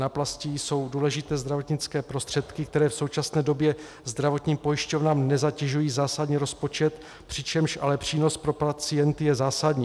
Náplasti jsou důležité zdravotnické prostředky, které v současné době zdravotním pojišťovnám nezatěžují zásadně rozpočet, přičemž ale přínos pro pacienty je zásadní.